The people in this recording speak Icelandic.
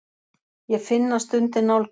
Ég finn að stundin nálgast.